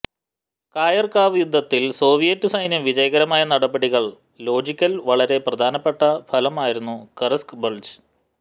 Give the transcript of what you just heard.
Kharkov യുദ്ധത്തിൽ Soviet സൈന്യം വിജയകരമായ നടപടികൾ ലോജിക്കൽ വളരെ പ്രധാനപ്പെട്ട ഫലമായിരുന്നു ക്ര്സ്ക് ബൾജ്